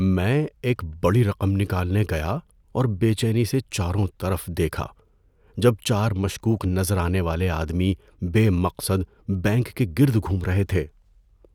میں ایک بڑی رقم نکالنے گیا اور بے چینی سے چاروں طرف دیکھا جب چار مشکوک نظر آنے والے آدمی بے مقصد بینک کے گرد گھوم رہے تھے۔